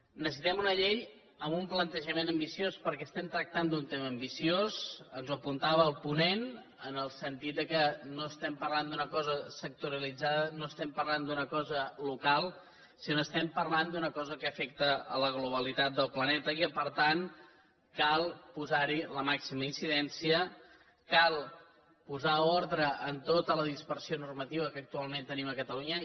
necessitem una llei amb un plantejament ambiciós perquè estem tractant d’un tema ambiciós ens ho apuntava el ponent en el sentit que no estem parlant d’una cosa sectorialitzada no estem parlant d’una cosa local sinó que estem parlant d’una cosa que afecta la globalitat del planeta i que per tant cal posar hi la màxima incidència cal posar ordre en tota la dispersió normativa que actualment tenim a catalunya